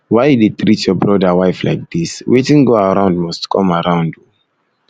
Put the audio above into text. why you dey treat your brother wife like dis wetin go around must come around oo